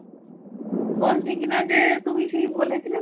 বলছি কিনা যে তুমি সেই বলেছিলে